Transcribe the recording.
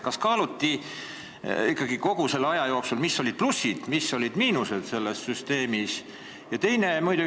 Kas ikkagi selle aja jooksul on kaalutud, mis olid selle süsteemi plussid ja mis olid miinused?